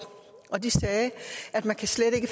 de sagde at man slet ikke